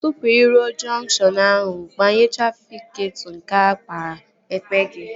Tụpụ ị ruo jọnkshọn ahụ, gbaghee trafịketọ nke aka ekpe gị